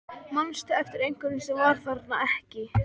Manstu eftir einhverjum sem var þarna ekki?